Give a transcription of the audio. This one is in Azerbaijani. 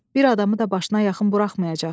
Bir adamı da başına yaxın buraxmayacaq.